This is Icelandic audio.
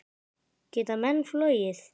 Geta menn flogið?